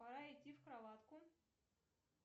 пора идти в кроватку